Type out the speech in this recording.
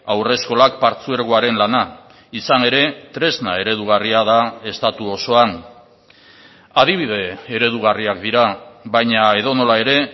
haurreskolak partzuergoaren lana izan ere tresna eredugarria da estatu osoan adibide eredugarriak dira baina edonola ere